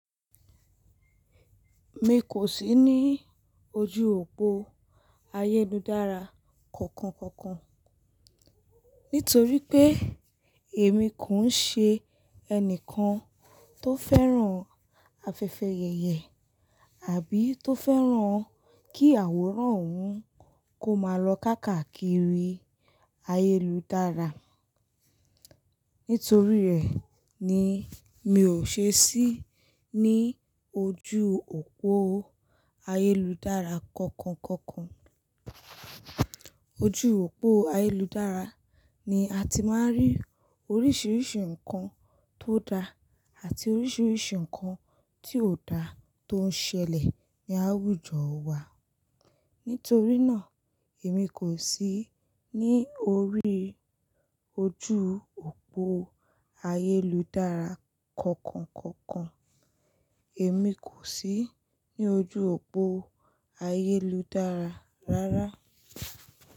Mi kò sí ní ojú òpó ayéludára kankan kankan. Nítorí pé èmi kò ń ṣe ẹnìkan tó fẹ́ràn afẹfẹyẹ̀yẹ̀ àbí tó fẹ́ràn kí àwòrán òun kó máa lọ káàkakiri ayéludára. Nítorí rẹ̀ ni mi ò ṣe si ní ojú òpó ayéludára kankan kankan. Ojú òpó ayéludára ni a ti máa ń rí oríṣiríṣi ǹkan tó da àti oríṣiríṣi ǹkan tí ò da tó ń ṣẹlẹ̀ ní àwùjọ wa. Nítorí náà èmi kò sí ní orí ojú òpó ayéludára kankan kankan. Èmi kò sí ní ojú òpó ayéludára rárá.